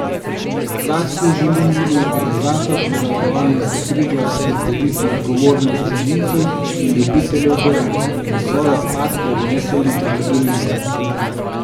Z akcijo želi njen organizator, Zavarovalnica Triglav, spodbuditi odgovornost planincev in ljubiteljev gora, da svoje odpadke odnesejo nazaj v dolino.